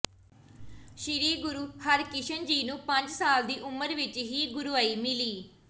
ਸ੍ਰੀ ਗੁਰੂ ਹਰਕ੍ਰਿਸ਼ਨ ਜੀ ਨੂੰ ਪੰਜ ਸਾਲ ਦੀ ਉਮਰ ਵਿਚ ਹੀ ਗੁਰਿਆਈ ਮਿਲੀ